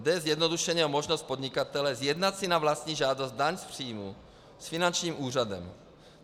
Jde zjednodušeně o možnost podnikatele sjednat si na vlastní žádost daň z příjmu s finančním úřadem.